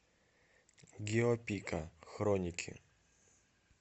гио пика хроники